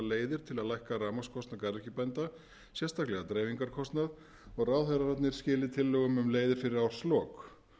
leiðir til að lækka rafmagnskostnað garðyrkjubænda sérstaklega dreifingarkostnað ráðherrarnir skili tillögum um leiðir fyrir árslok